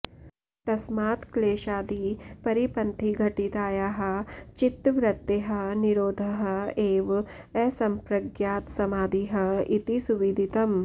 तस्मात् क्लेशादिपरिपन्थिघटितायाः चित्तवृत्तेः निरोधः एव असम्प्रज्ञातसमाधिः इति सुविदितम्